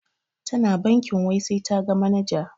Tana bankin wai sai taga manaja.